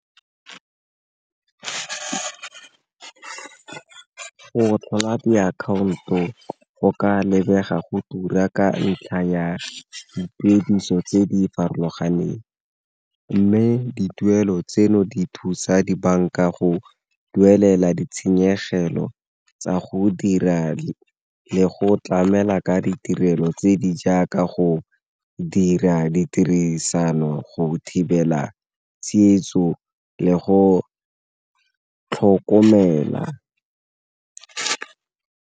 Go tlhola diakhaonto go ka lebega go tura ka ntlha ya dituediso tse di farologaneng, mme dituelo tseno di thusa dibanka go duelela ditshenyegelo tsa go dira di le go tlamela ka ditirelo tse di jang ka go dira ditirisano go thibela tsietso le go tlhokomela.